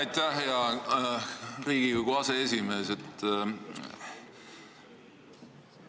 Aitäh, hea Riigikogu aseesimees!